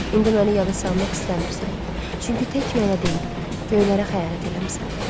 İndi məni yada salmaq istəmirsən, çünki tək mənə deyil, göylərə xəyanət eləmisən.